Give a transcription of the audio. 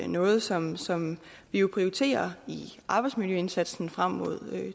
noget som som vi jo prioriterer i arbejdsmiljøindsatsen frem mod